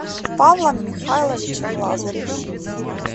павлом михайловичем лазаревым